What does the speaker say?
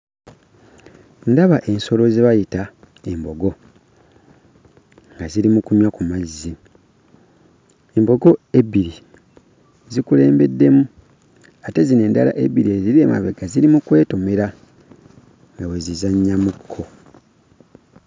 Ndaba ensolo ze bayita embogo nga ziri mu kunywa ku mazzi, embogo ebbiri zikulembeddemu ate zino endala ebbiri eziri emabega ziri mu kwetomera nga bwe zizannyamu kko.